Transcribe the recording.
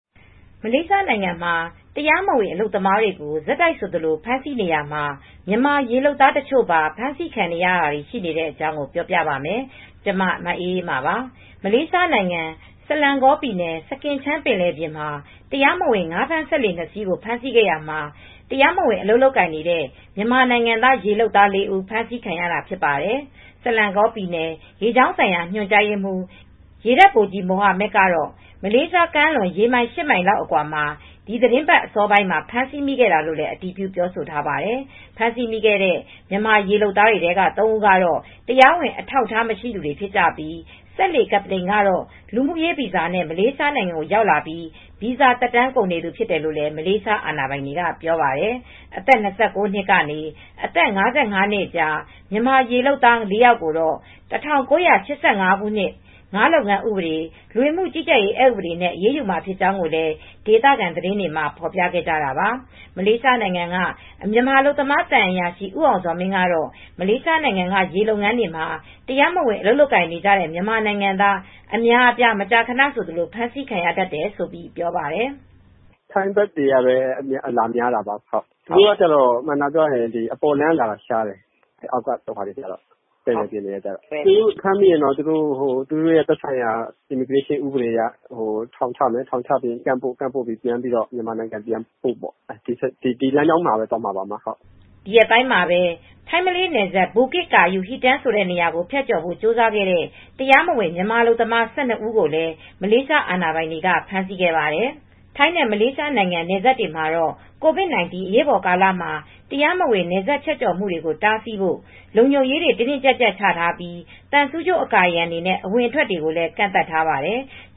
မလေးရှားနိုင်ငံမှာ တရားမဝင် အလုပ်သမားတွေကို ဆက်တိုက်ဆိုသလို ဖမ်းဆီးနေရာမှာ မြန်မာရေလုပ်သားတချို့ပါ ဖမ်းဆီးခံရတာတွေ ရှိနေတဲ့အကြောင်း ပြောပြပါမယ်။ ဗွီအိုအေမြန်မာပိုင်းသတင်းထောက် မအေးအေးမာက တင်ပြပေးထားပါတယ်။ မလေးရှားနိုင်ငံ စလန်းဂေါပြည်နယ် စကင်ချန်း ပင်လယ်ပြင်မှာ တရားမဝင် ငါးဖမ်းစက်လှေ နှစ် စီးကို ဖမ်းဆီးခဲ့ရာမှာ တရားမဝင် အလုပ်လုပ်နေတဲ့ မြန်မာနိုင်ငံက ရေလုပ်သား လေး ဦး ဖမ်းဆီးခံခဲ့ရတာ ဖြစ်ပါတယ်။ Selangor ပြည်နယ် ရေကြောင်းဆိုင်ရာ ညွှန်ကြားရေးမှူး ရေတပ်ဗိုလ်ကြီးမိုဟာမက် Rosli bin Kassim ကတော့ မလေးရှားကမ်းလွန် ရေမိုင် ၈ မိုင်လောက် အကွာမှာ ဒီသီတင်းပတ် အစောပိုင်းက ဖမ်းဆီးမိခဲ့တာလို့လည်း အတည်ပြုပြောဆိုထားပါတယ်။ ဖမ်းဆီးမိခဲ့တဲ့ မြန်မာရေလုပ်သားတွေထဲမှာ သုံး ဦးကတော့ တရားဝင်အထောက်အထား မရှိသူတွေ ဖြစ်ကြပြီး၊ စက်လှေကပ္ပတိန်ကတော့ လူမှုရေးဗီဇာနဲ့ မလေးရှားနိုင်ငံကို ရောက်လာပြီး ဗီဇာသက်တမ်းကုန်နေသူ ဖြစ်တယ်လို့လည်း မလေးရှားအာဏာပိုင်တွေက ပြောပါတယ်။ အသက် ၂၉ နှစ်က နေအသက် ၅၅ နှစ်ကြား မြန်မာရေလုပ်သား ၄ ယောက်ကိုတော့ ၁၉၈၅ ခုနှစ် ငါးလုပ်ငန်းဥပဒေ၊ လူဝင်မှုကြီးကြပ်ရေး အက်ဥပဒေတွေနဲ့ အရေးယူမှာ ဖြစ်ကြောင်းလည်း ဒေသခံ သတင်းတွေမှာ ဖော်ပြခဲ့ကြတာပါ။ မလေးရှားနိုင်ငံက မြန်မာအလုပ်သမား သံအရာရှိ ဦးအောင်ဇော်မင်းကတော့ မလေးရှားနိုင်ငံက ရေလုပ်ငန်းမှာ တရားမဝင် အလုပ်လုပ်ကိုင်နေကြတဲ့ မြန်မာနိုင်ငံသား အများအပြား မကြာခဏ ဖမ်းဆီးခံရတတ်တယ်လို့ ပြောပါတယ်။ "ထိုင်းဘက်တွေကပဲ အလာများတာပါ။ သူတို့က အပေါ်လမ်း (တရားဝင်လေယာဉ်လမ်း) က လာတာရှားတယ်။ သူတို့ကို အခုဖမ်းမိပြီဆိုတော့ လဝက ဥပဒေနဲ့ ဖမ်းမယ်၊ ထောင်ချမယ်ပြီးရင်တော့ပြန်ပို့တယ် ဒီလမ်းကြောင်းတွေကပဲ သွားပါတယ်။" ဒီရက်ပိုင်းမှာပဲ ထိုင်း - မလေးနယ်စပ် ဘူကစ် ကာယု ဟီတမ်း ကို ဖြတ်ကျော်ဖို့ ကြိုးစားခဲ့တဲ့ တရားမဝင် မြန်မာအလုပ်သမား ၁၂ ဦး ကိုလည်း မလေးရှားအာဏာပိုင်တွေက ဖမ်းဆီးခဲ့ပါတယ်။ ထိုင်းနဲ့ မလေးရှားနိုင်ငံ နယ်စပ်တွေမှာတော့ COVID 19 အရေးပေါ်ကာလမှာ တရားမဝင် နယ်စပ်ဖြတ်ကျော်မှုတွေကို တားဆီးဖို့ လုံခြုံရေးတွေ တင်းတင်းကြပ်ကြပ်ချထားပြီး သံဆူးကြိုးအကာအရံတွေနဲ့ အဝင်အထွက်တွေကိုလည်း ကန့်သတ်ထားပါတယ်။